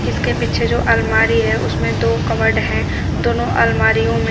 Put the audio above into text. इसके पीछे जो अलमारी है उसमें दो कवर्ड है दोनों अलमारीयो में--